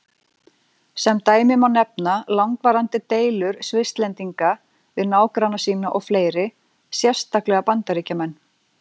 Sem dæmi má nefna langvarandi deilur Svisslendinga við nágranna sína og fleiri, sérstaklega Bandaríkjamenn.